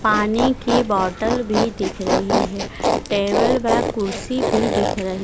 पानी की बॉटल भी दिख रही है टेबल व कुर्सी भी दिख रही--